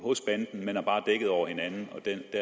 man har bare dækket over hinanden